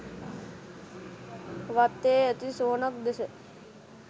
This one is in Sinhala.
වත්තේ ඇති සොහොනක් දෙස